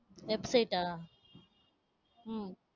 website ஆ உம்